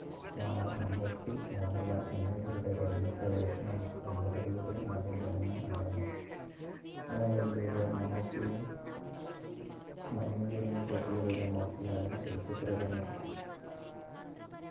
വാണ മമ്മൂട്ടി മോഹൻലാൽ എന്നിവരുടെ രംഗ പ്രവേശനവും എൺപത് കളുടെ ആദ്യം തന്നെ നടന്നു മേളയിലൂടെ മമ്മൂട്ടിയും മഞ്ഞിൽ വിരിഞ്ഞ പൂക്കളിലൂടെ മോഹൻലാലും ചലച്ചിത്ര രംഗത്തെത്തി